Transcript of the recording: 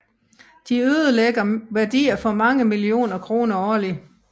De ødelægger værdier for mange millioner kroner årlig